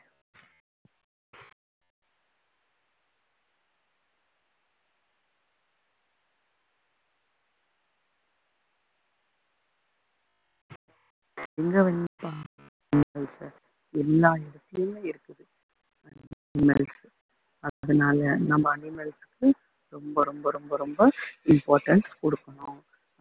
எங்க வேணும்னாலும் எல்லா இடத்துலேயும் இருக்குது animals உ அதனால நம்ம animals க்கு ரொம்ப ரொம்ப ரொம்ப importance குடுக்கணும்